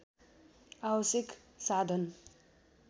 आवश्यक साधन